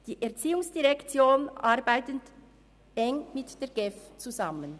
Die ERZ arbeitet eng mit der GEF zusammen.